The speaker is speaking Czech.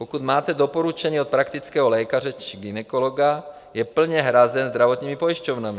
Pokud máte doporučení od praktického lékaře či gynekologa, je plně hrazen zdravotními pojišťovnami.